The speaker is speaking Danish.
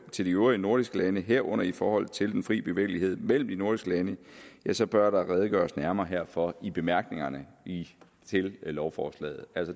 til de øvrige nordiske lande herunder i forhold til den fri bevægelighed mellem de nordiske lande så bør der redegøres nærmere herfor i bemærkningerne til lovforslaget